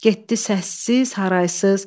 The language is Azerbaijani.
Getdi səssiz, haraysız.